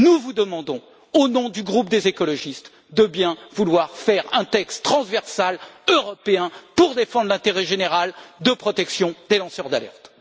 Nous vous demandons, au nom du groupe des écologistes, de bien vouloir produire un texte transversal européen pour défendre l'intérêt général de protection des lanceurs d'alerte.